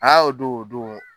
Aa o don o don